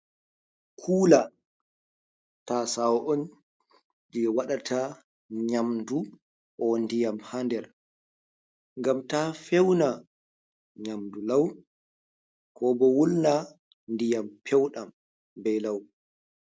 Kuula, tasawo’on je waɗata nyamdu, ko ndiyam ha nder gam ta feuna nyamdu lau, ko bo wulna diyam peuɗam be lau.